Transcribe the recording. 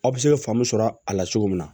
Aw bɛ se ka faamu sɔrɔ a la cogo min na